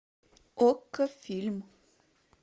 окко фильм